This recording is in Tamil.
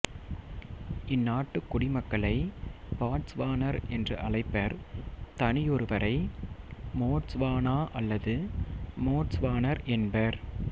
இந்நாட்டுக் குடிமக்களை பாட்ஸ்வானர் என்று அழைப்பர் தனியொருவரை மோட்ஸ்வானா அல்லது மோட்ஸ்வானர் என்பர்